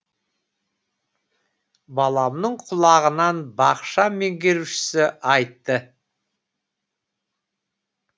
баламның құлағанын бақша меңгерушісі айтты